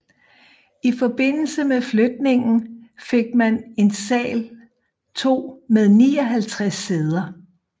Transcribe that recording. I forbindelse med flytningen fik man en sal 2 med 59 sæder